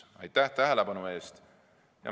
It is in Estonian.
Aitäh tähelepanu eest!